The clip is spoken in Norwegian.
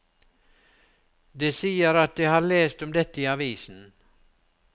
De sier at de har lest om dette i avisen.